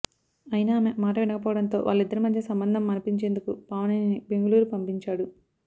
అయినా ఆమె మాట వినకపోవడంతో వాళ్ళ ఇద్దరి మధ్య సంబంధం మాన్పించేందుకు పావనిని బెంగళూరు పంపించాడు